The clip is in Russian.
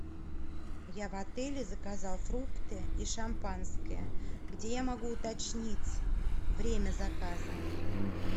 я в отеле заказал фрукты и шампанское где я могу уточнить время заказа